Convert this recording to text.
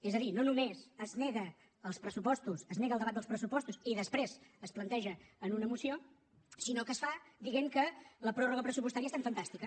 és a dir no només es nega el debat dels pressupostos i després es planteja en una moció sinó que es fa dient que la pròrroga pressupostària és tan fantàstica